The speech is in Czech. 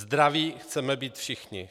Zdraví chceme být všichni.